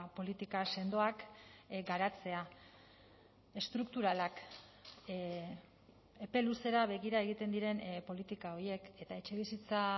politika sendoak garatzea estrukturalak epe luzera begira egiten diren politika horiek eta etxebizitza